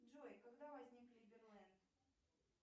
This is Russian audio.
джой когда возник либерленд